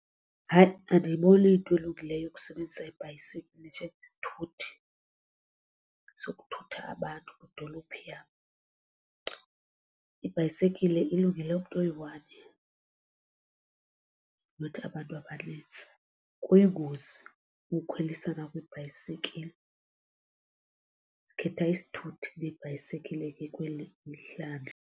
Hayi andiyiboni iyinto elungileyo ukusebenzisa ibhayisekile njengesithuthi sokuthutha abantu kwidolophu yam. Ibhayisekile ilungele umntu oyi-one nothi abantu abanintsi. Kuyingozi ukukhwelisana kwibhayisikile ndikhetha isithuthi kunebhayisikile ke kweli isihlandlo.